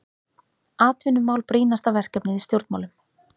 Atvinnumál brýnasta verkefnið í stjórnmálum